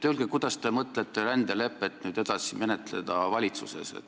Kuidas te mõtlete rändelepet nüüd valitsuses edasi menetleda?